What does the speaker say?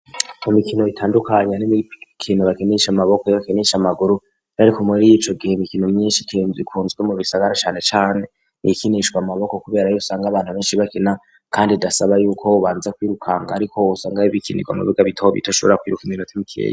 Mu mikino itandukanya n'imikino bakinisha amaboko yo bakinisha amaguru ariko muri y'ico gihe mikino myinshi ikunzwe mu bisagara cane cane niyikinishwa amaboko kuberayo usanga abantu benshi bakina kandi dasaba yuko ubanze kwirukanga ariko usanga ho ibikinirwa mu buga bitaho bito shobora kwiruka iminote mukiye.